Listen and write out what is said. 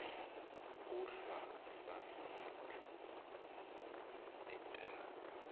kuhlwa sasimathumbu entaka